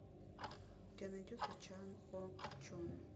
у тебя найдется чан ок чон